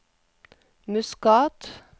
Muscat